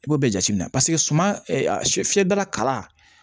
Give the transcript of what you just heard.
I b'o bɛɛ jateminɛ suman fiyɛ dala kala